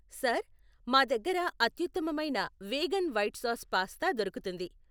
Sir, మా దగ్గర అత్యుత్తమమైన వేగన్ వైట్ సాస్ పాస్తా దొరుకుతుంది.